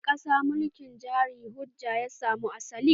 A wani ƙasa mulkin jari-hujja ya samo asali.